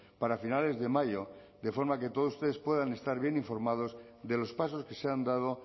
para finales de mayo de forma que todos ustedes puedan estar bien informados de los pasos que se han dado